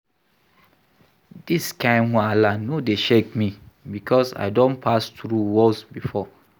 Dis kain wahala no dey shake me because I don pass through worse before.